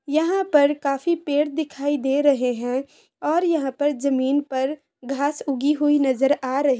यहां पर काफी पेड़ दिखाई दे रहे हैं और यहां पर जमीन पर घास यूकी हुई नजर आ रही है।